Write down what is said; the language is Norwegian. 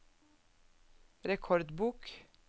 rekordbok